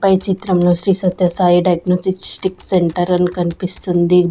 పై చిత్రంలో Shri Satya Sai diagnostics centre అని కన్పిస్తుంది.